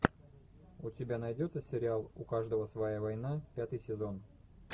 у тебя найдется сериал у каждого своя война пятый сезон